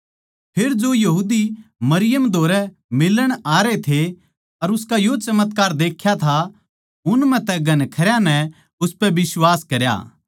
फेर जो माणस मरियम धोरै मिलण आरे थे अर उसका यो चमत्कार देख्या था उन म्ह तै घणखरयां नै उसपै बिश्वास करया